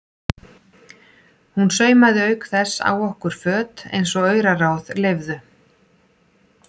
Hún saumaði auk þess á okkur föt eins og auraráð leyfðu.